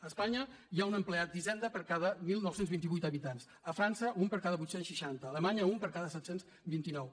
a espanya hi ha un empleat d’hisenda per cada dinou vint vuit habitants a frança un per cada vuit cents i seixanta a alemanya un per cada set cents i vint nou